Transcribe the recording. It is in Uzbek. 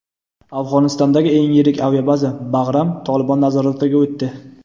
Afg‘onistondagi eng yirik aviabaza – Bag‘ram "Tolibon" nazoratiga o‘tdi.